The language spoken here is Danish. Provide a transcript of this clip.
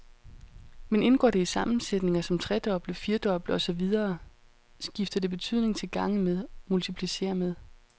Men indgår det i sammensætninger som tredoble, firdoble og så videre skifter det betydning til gange med, multiplicere med.